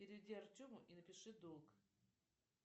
переведи артему и напиши долг